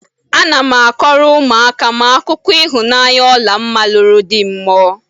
Ana m akọrọ ụmụaka m akụkụ ịhụnanya Ọlamma lụrụ dị mmụọ